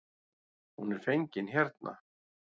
Hún er fengin hérna.